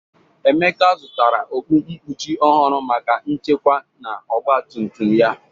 Emeka zụtara okpu nkpuchi ọhụrụ maka nchekwa na ọgba tum tum ya.